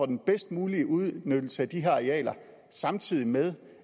den bedst mulige udnyttelse af de her arealer samtidig med